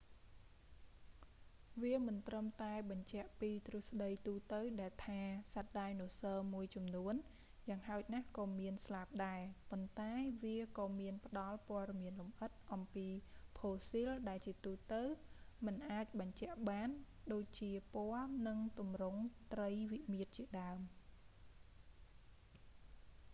វាមិនត្រឹមតែបញ្ជាក់ពីទ្រឹស្ដីទូទៅដែលថា សត្វដាយណូស័រមួយចំនួនយ៉ាងហោចណាស់ក៏មានស្លាបដែរ ប៉ុន្តែវាក៏មានផ្តល់ព័ត៌មានលម្អិតអំពីផូស៊ីលដែលជាទូទៅមិនអាចបញ្ជាក់បាន ដូចជាពណ៌ និង ទម្រង់ ត្រីវិមាត្រជាដើម